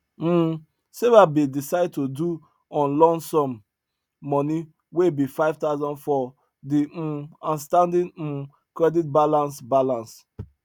um sarah bin decide to do on lump sum money wey be 5000 for the um outstanding um credit balance balance